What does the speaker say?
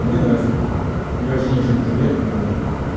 мне нравится мефедрон я вообще ни о чем не жалею ну